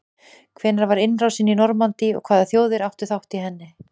hvenær var innrásin í normandí og hvaða þjóðir áttu þátt í henni